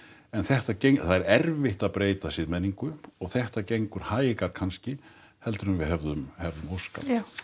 en þetta það er erfitt að breyta siðmenningu og þetta gengur hægar kannski heldur en við hefðum óskað